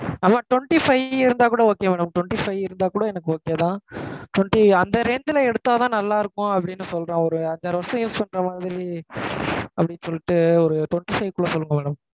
அதான் twenty-five இருந்தாக்கூட okay madam twenty five இருந்தாக்கூட எனக்கு okay தான். twenty அந்த range ல எடுத்தா தான் நல்லா இருக்கும் அப்படின்னு சொல்றான். ஒரு அஞ்சு ஆறு வருஷம் use பண்ற மாதிரி அப்படின்னு சொல்லிட்டு ஒரு twenty five குள்ள சொல்லுங்க madam